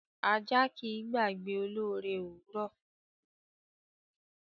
Ajá kì í gbàgbé olóore òwúrọ̀.